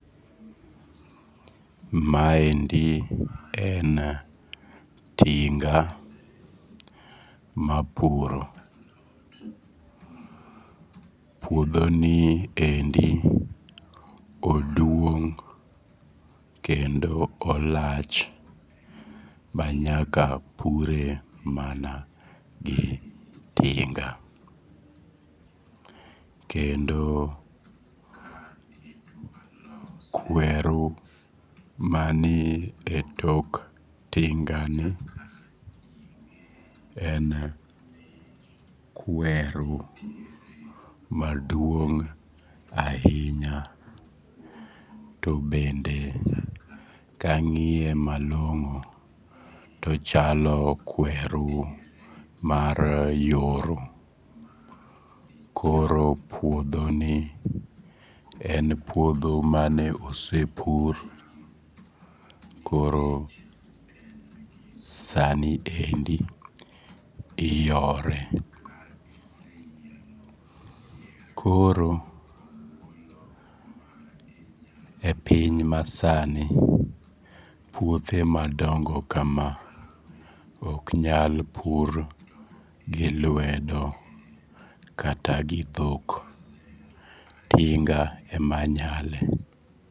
Maendi en tinga mapuro. Puodho niendi oduong' kendo olach manyaka pure mana gitinga. Kendo kweru mani etok tingani en kweru maduong' ahinya to bende kang'iye malong'o to ochalo kweru mar yooro koro puodhoni en opuodho mane osepur koro sani endi iyore. Koro e piny masani puothe madongo kama, ok nyal pur gilwedo kata gidhokl. Tinga ema nyale.